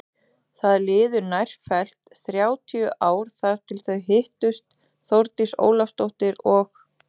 Það liðu nærfellt þrjátíu ár þar til þau hittust Þórdís Ólafsdóttir og